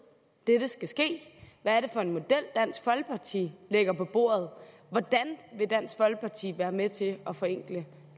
dette skal ske hvad er det for en model dansk folkeparti lægger på bordet hvordan vil dansk folkeparti være med til at forenkle